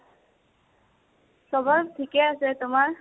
চবৰ ঠিকে আছে আৰু তোমাৰ?